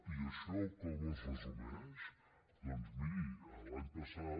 i això com es resumeix doncs miri l’any passat